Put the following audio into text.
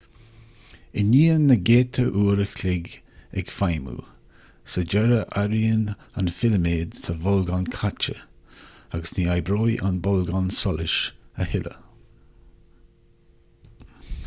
i ndiaidh na gcéadta uair an chloig ag feidhmiú sa deireadh éiríonn an filiméad sa bholgán caite agus ní oibreoidh an bolgán solais a thuilleadh